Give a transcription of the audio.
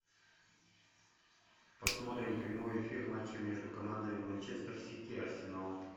посмотрим прямой эфир матча между командами манчестер сити и арсенал